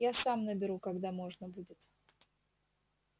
я сам наберу когда можно будет